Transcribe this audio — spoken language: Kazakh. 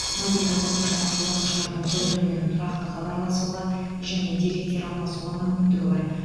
мобильді қосымшаны қолданушылардың бір бірімен тұрақты хабарласуға және деректер алмасуға мүмкіндігі бар